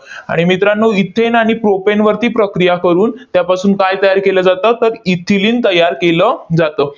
आणि मित्रांनो, इथेन आणि प्रोपेनवरती प्रक्रिया करून त्यापासून काय तयार केलं जातं? तर इथिलिन तयार केलं जातं.